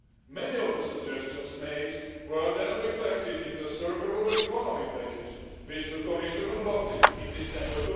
Many of the suggestions made were then reflected in the Circular Economy package which the Commission adopted in December